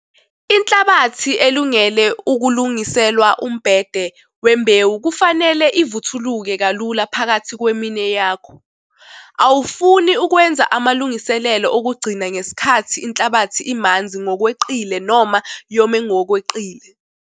Inhlabathi elungele ukulungiselwa umbhede wembewu kufanele ivuthuluke kalula phakathi kweminwe yakho. Awufuni ukwenza amalungiselelo okugcina ngesikhathi inhlabathi imanzi ngokweqile noma yome ngokweqile!